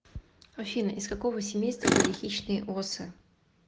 афина из какого семейства были хищные осы